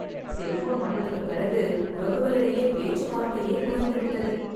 Cellphone வந்ததுக்குப் பிறகு உறவுகளிடையே பேச்சுவார்த்தையே குறைந்துவிட்டது.